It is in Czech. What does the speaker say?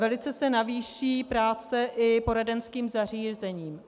Velice se navýší práce i poradenským zařízením.